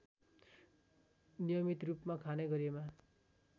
नियमितरूपमा खाने गरेमा